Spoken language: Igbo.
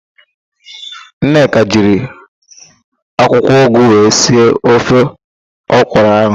Nneka jiri akwụkwọụgụ wee sie ofe ọkwụrụ ahụ,